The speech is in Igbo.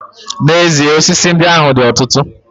N'ezie, osisi ndị ahụ dị ọtụtụ